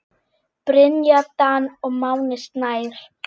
Brynja Dan og Máni Snær.